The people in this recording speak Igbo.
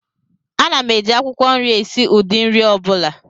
Ana m eji akwukwo nri esi ụdị nri ọ bụla